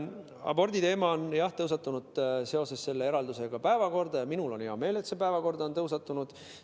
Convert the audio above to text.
Aborditeema on jah seoses selle eraldisega tõusetunud ja minul on hea meel, et see päevakorda on tõusnud.